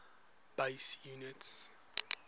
base units